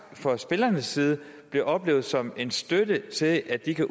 fra spillernes side oplevet som en støtte til at de kan